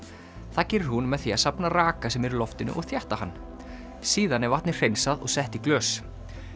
það gerir hún með því að safna raka sem er í loftinu og þétta hann síðan er vatnið hreinsað og sett í glös